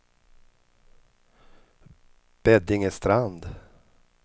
Beddingestrand